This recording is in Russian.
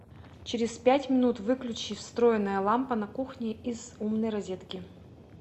через пять минут выключи встроенная лампа на кухне из умной розетки